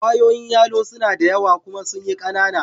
Kwayoyin yalo suna da yawa kuma sun yi kanana.